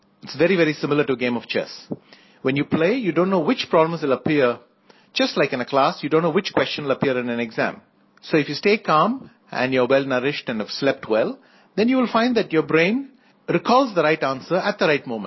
इत is very very similar to a game of chess when you play you don't know which pawn will appear just like in a class you don't know which question will appear in an exam so if you stay calm and you are well nourished and have slept well then you will find that your brain recalls the right answer at the right moment